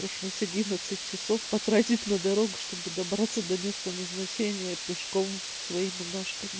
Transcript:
пришлось одиннадцать часов потратить на дорогу чтобы добраться до места назначения пешком своими ножками